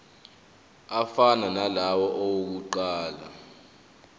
afana nalawo awokuqala